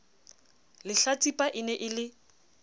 lehlatsipa e ne e le